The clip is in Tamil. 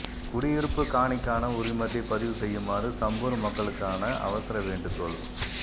குடியிருப்புக் காணிக்கான உரிமத்தை பதிவு செய்யுமாறு சம்பூர் மக்களுக்கான அவசர வேண்டுகோள்